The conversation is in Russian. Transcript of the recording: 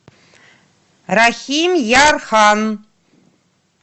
рахимъярхан